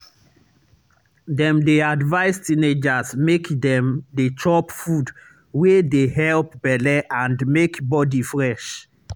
dem dey advise teenagers make dem dey chop food wey dey help belle and make body fresh.